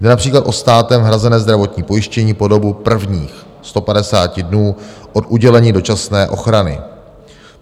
Jde například o státem hrazené zdravotní pojištění po dobu prvních 150 dnů od udělení dočasné ochrany.